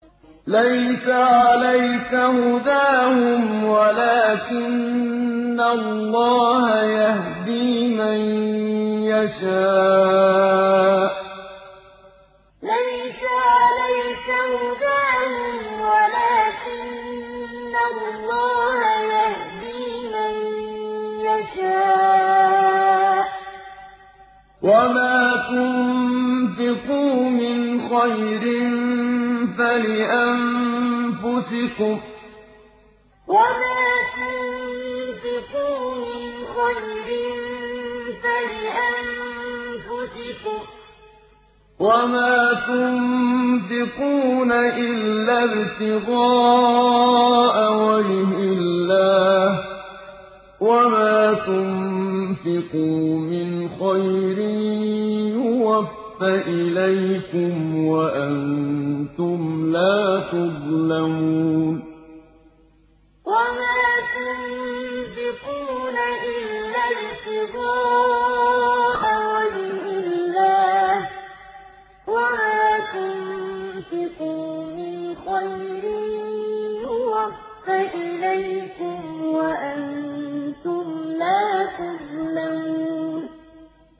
۞ لَّيْسَ عَلَيْكَ هُدَاهُمْ وَلَٰكِنَّ اللَّهَ يَهْدِي مَن يَشَاءُ ۗ وَمَا تُنفِقُوا مِنْ خَيْرٍ فَلِأَنفُسِكُمْ ۚ وَمَا تُنفِقُونَ إِلَّا ابْتِغَاءَ وَجْهِ اللَّهِ ۚ وَمَا تُنفِقُوا مِنْ خَيْرٍ يُوَفَّ إِلَيْكُمْ وَأَنتُمْ لَا تُظْلَمُونَ ۞ لَّيْسَ عَلَيْكَ هُدَاهُمْ وَلَٰكِنَّ اللَّهَ يَهْدِي مَن يَشَاءُ ۗ وَمَا تُنفِقُوا مِنْ خَيْرٍ فَلِأَنفُسِكُمْ ۚ وَمَا تُنفِقُونَ إِلَّا ابْتِغَاءَ وَجْهِ اللَّهِ ۚ وَمَا تُنفِقُوا مِنْ خَيْرٍ يُوَفَّ إِلَيْكُمْ وَأَنتُمْ لَا تُظْلَمُونَ